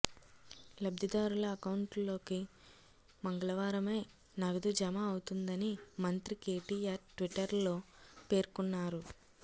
లబ్ధిదారుల అకౌంట్లలోకి మంగళవారమే నగదు జమ అవుతుందని మంత్రి కేటీఆర్ ట్విటర్లో పేర్కొన్నారు